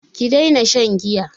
Ki daina shan giya!